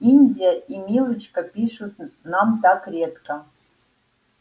индия и милочка пишут нам так редко